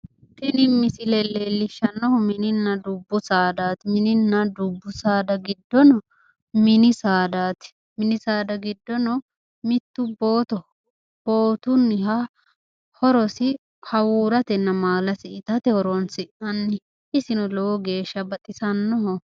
tini misile leellishshannohu mininna dubbu saadaati mininna dubbu saada giddono mini saadaati mini saada giddono mittu bootoho bootunniha horosi hawuuratenna maala itate horonsi'nanni isino lowo geeshsha baxisannoho.